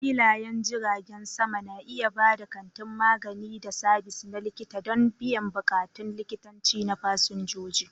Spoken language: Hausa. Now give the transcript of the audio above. Filayen jiragen sama na iya ba da kantin magani da sabis na likita don biyan bukatun likitanci na fasinjoji.